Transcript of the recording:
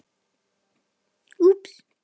Þar var ekkert gefið eftir.